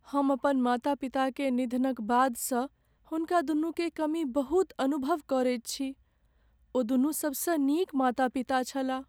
हम अपन माता पिता के निधनक बादसँ हुनकादुनूकेँ कमी बहुत अनुभव करैत छी। ओदुनू सबसँ नीक माता पिता छलाह।